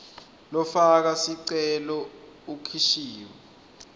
lofaka sicelo ukhishiwe